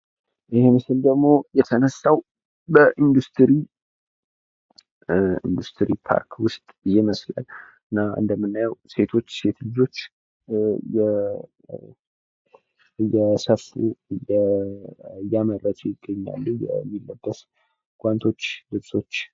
ይህ ምስል የተነሳው በኢንዱስትሪ ፓርክ ውስጥ ይመስላል። ሴቶች የተለያዩ ፓንቶችንና ጨርቆችን እየሰፉ ይታያሉ።